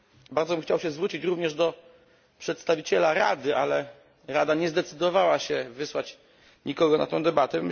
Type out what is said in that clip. Bardzo bym chciał się zwrócić również do przedstawiciela Rady, ale Rada nie zdecydowała się wysłać nikogo na tę debatę.